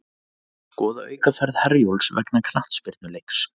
Skoða aukaferð Herjólfs vegna knattspyrnuleiks